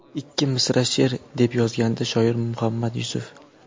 Ikki misra she’r...”, deb yozgandi shoir Muhammad Yusuf.